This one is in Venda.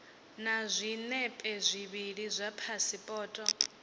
na zwinepe zwivhili zwa phasipoto